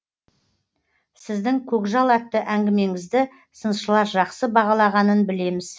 сіздің көкжал атты әңгімеңізді сыншылар жақсы бағалағанын білеміз